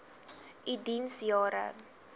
u diens jare